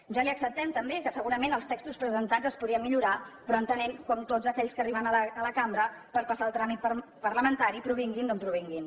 ja li acceptem també que segurament els textos presentats es podrien millorar però entenem com tots aquells que arriben a la cambra per passar el tràmit parlamentari provinguin d’on provinguin